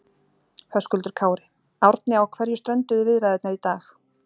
Höskuldur Kári: Árni á hverju strönduðu viðræðurnar í dag?